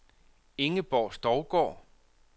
Ingeborg Stougaard